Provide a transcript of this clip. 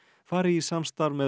fari í samstarf með